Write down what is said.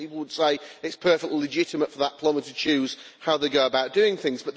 I think people would say it is perfectly legitimate for that plumber to choose how he goes about doing things.